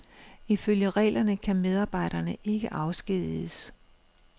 Ifølge reglerne kan medarbejderne ikke afskediges.